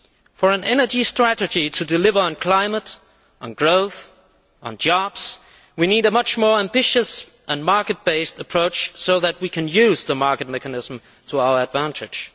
For an energy strategy to deliver on climate, on growth, on jobs, we need a much more ambitious and market based approach so that we can use the market mechanism to our advantage.